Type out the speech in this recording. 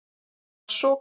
Það var svokallað